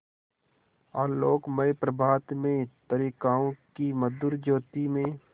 आलोकमय प्रभात में तारिकाओं की मधुर ज्योति में